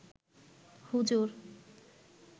হুজুর